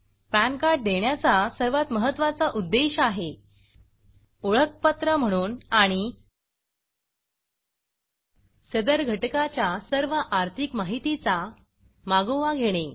pan card देण्याचा सर्वात महत्वा चा उद्देश आहे ओळखपत्र म्हणून आणि सदर घटकाच्या सर्व आर्थिक माहितीचा मागोवा घेणे